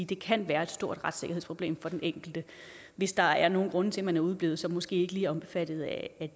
det kan være et stort retssikkerhedsproblem for den enkelte hvis der er nogle grunde til at man er udeblevet som måske ikke lige er omfattet af